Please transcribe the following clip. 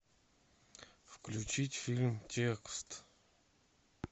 включить фильм текст